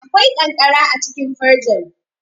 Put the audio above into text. Akwai ƙanƙara acikin firjin.